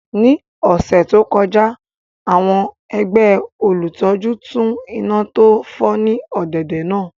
Ní ọ̀sẹ̀ tó kọjá àwọn ẹgbẹ́ olùtọ́jú tún iná tó fọ́ ní ọ̀dẹ̀dẹ̀ náà